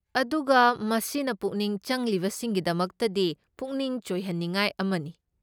ꯑꯗꯨꯒ ꯃꯁꯤꯅ ꯄꯨꯛꯅꯤꯡ ꯆꯪꯂꯤꯕꯁꯤꯡꯒꯤꯗꯃꯛꯇꯗꯤ ꯄꯨꯛꯅꯤꯡ ꯆꯣꯏꯍꯟꯅꯤꯡꯉꯥꯏ ꯑꯃꯅꯤ꯫